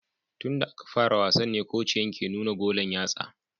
Tun da aka fara wasan ne kociyan ke nuna golan yatsa